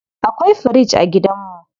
Akwai fridge a gidanmu.